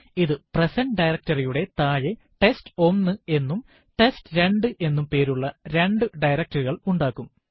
ഇത് present directory യുടെ താഴെ ടെസ്റ്റ്1 എന്നും ടെസ്റ്റ്2 എന്നും പേരുള്ള രണ്ടു directory കള് ഉണ്ടാക്കും